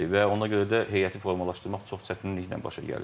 Və ona görə də heyəti formalaşdırmaq çox çətinliklə başa gəlir.